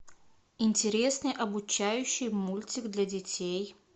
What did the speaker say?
интересный обучающий мультик для детей